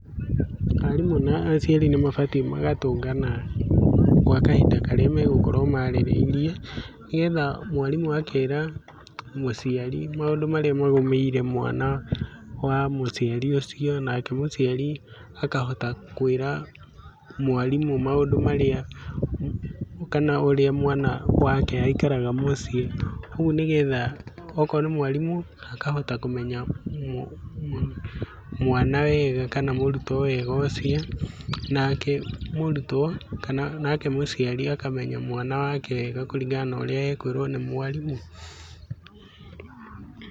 Arimũ ma aciari nĩ mabatiĩ magayũngana gwa kahinda karĩa magũkorwo marĩrĩirie nĩgetha mwarimũ agakĩra mũciari maũndũ marĩa magũmĩire mwana wa mũciari ũcio nake mũciari akahota kwĩra mwarimũ maũndũ marĩa kana ũrĩa mwana wake aikaraga mũciĩ, ũguo nĩgetha akorwo nĩ mwarimũ akahota kũmenya mwana wega kana mũrutwo wega ũcio kana nake mũrutwo kana mũciari akamemya mwana wake wega kũringana na ũrĩa ekwĩrwo nĩ mwarimũ.